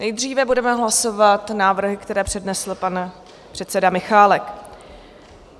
Nejdříve budeme hlasovat návrhy, které přednesl pan předseda Michálek.